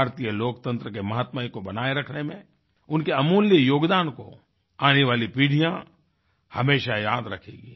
भारतीय लोकतंत्र के महात्म्य को बनाए रखने में उनके अमूल्य योगदान को आने वाली पीढ़ियाँ हमेशा याद रखेंगी